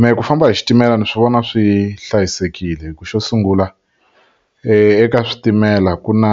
Mehe ku famba hi xitimela ni swi vona swi hlayisekile hi ku xo sungula eka switimela ku na